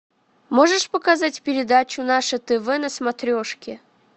можешь показать передачу наше тв на смотрешке